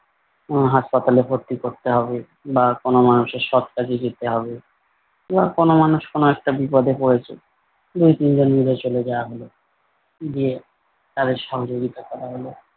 উম হাসপাতালে ভর্তি করতে হবে বা কোনো মানুষের সৎ কাজে যেতে হবে বা কোনো মানুষ কোনো একটা বিপদে পড়েছে দুই তিনজন মিলে চলে যাওয়া হলো। গিয়ে তাদের সহযোগিতা করা হলো ।